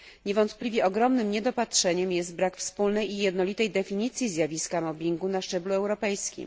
Niewątpliwie ogromnym niedopatrzeniem jest brak wspólnej i jednolitej definicji zjawiska mobbingu na szczeblu europejskim.